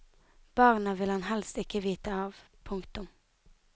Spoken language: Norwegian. Barna vil han helst ikke vite av. punktum